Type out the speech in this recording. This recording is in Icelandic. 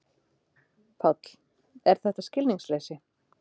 Páll: Er þetta skilningsleysi?